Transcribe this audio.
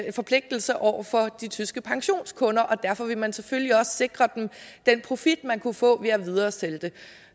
en forpligtelse over for de tyske pensionskunder og derfor vil man selvfølgelig også sikre dem den profit man kunne få ved at videresælge det